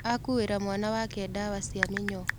Akuĩra mwana wake dawa cia mĩnyoo.